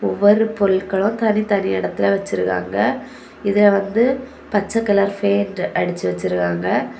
ஒரு பொருள்களும் தனி தனி இடத்துல வச்சிருக்காங்க இதுல வந்து பச்ச கலர் ஃபெயின்ட் அடிச்சு வச்சிருக்காங்க.